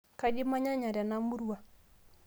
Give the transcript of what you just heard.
kaji imanyanya tena murua